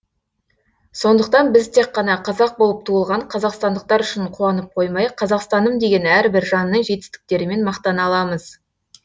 сондықтан біз тек қана қазақ болып туылған қазақстандықтар үшін қуанып қоймай қазақстаным деген әрбір жанның жетістіктерімен мақтана аламыз